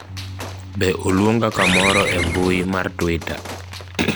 be oluonga kamoro e mbui mar twita